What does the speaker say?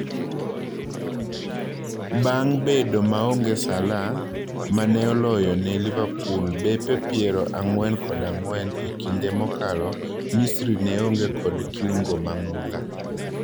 Bang' bedo maonge Salah, maneoloyone Liverpool bepe piero ang'wen kod ang'wen e kinde mokalo, Misri neonge kod kiungo mang'ula.